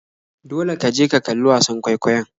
Dole ka je ka kalli wasan kwaikwayon.